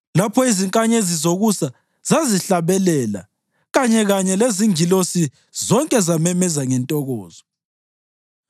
lapho izinkanyezi zokusa zazihlabelela kanyekanye lezingilosi zonke zamemeza ngentokozo?